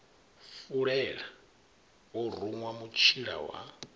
fulela o ruṅwa mutshila wa